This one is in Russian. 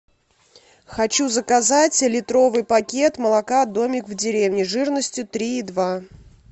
хочу заказать литровый пакет молока домик в деревне жирностью три и два